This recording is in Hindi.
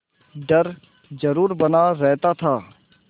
डर जरुर बना रहता था